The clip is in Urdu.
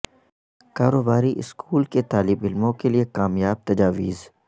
کاروباری اسکول کے طالب علموں کے لئے کامیاب تجاویز